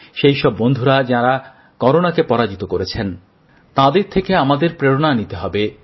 সেই সব বন্ধুরা যাঁরা করোনাকে পরাজিত করেছেন তাঁদের থেকে আমাদের প্রেরণা নিতে হবে